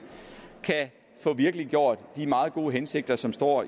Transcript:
kan få virkeliggjort de meget gode hensigter som står